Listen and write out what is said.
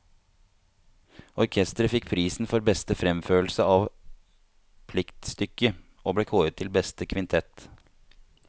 Orkesteret fikk prisen for beste fremførelse av pliktstykke, og ble kåret til beste kvintett.